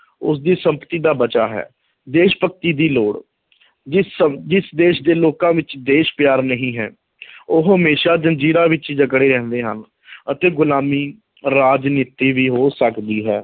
ਉਸਦੀ ਸੰਪਤੀ ਦਾ ਬਚਾਅ ਹੈ, ਦੇਸ਼ ਭਗਤੀ ਦੀ ਲੋੜ ਜਿਸ ਸ ਜਿਸ ਦੇਸ਼ ਦੇ ਲੋਕਾਂ ਵਿੱਚ ਦੇਸ਼ ਪਿਆਰ ਨਹੀਂ ਹੈ ਉਹ ਹਮੇਸ਼ਾ ਜ਼ੰਜੀਰਾਂ ਵਿੱਚ ਹੀ ਜਕੜੇ ਰਹਿੰਦੇ ਹਨ ਅਤੇ ਗੁਲਾਮੀ, ਰਾਜਨੀਤੀ ਵੀ ਹੋ ਸਕਦੀ ਹੈ,